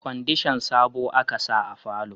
Kwandishan sabo a ka sa a falo